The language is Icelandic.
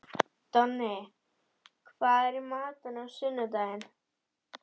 Donni, hvað er í matinn á sunnudaginn?